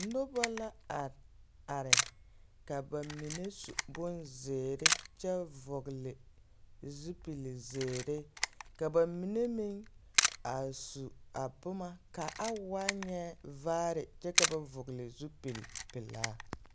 Nobɔ la are are ka ba mine su bonzeere kyɛ vɔgele zupil-zeere ka ba mine meŋ a su a boma ka a waa nyɛ vaare kyɛ ka ba vɔgele zupil-pelaa.